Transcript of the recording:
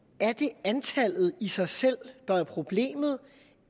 er antallet i sig selv der er problemet